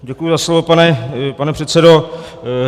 Děkuji za slovo, pane předsedo.